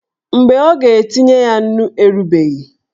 Mgbe ọ ga-etinye ya nnu erubeghị.